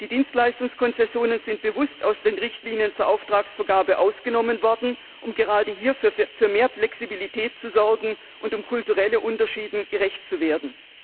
Die Dienstleistungskonzessionen sind bewusst aus den Richtlinien zur Auftragsvergabe ausgenommen worden, um gerade hier für mehr Flexibilität zu sorgen und um kulturellen Unterschieden gerecht zu werden.